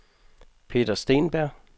Peter Steenberg